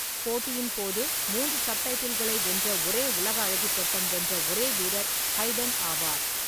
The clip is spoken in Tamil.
போட்டியின் போது மூன்று சப்டைட்டில்களை வென்ற ஒரே உலக அழகி பெட்டம் வென்ற ஒரே வீரர் ஹைடன் ஆவார்.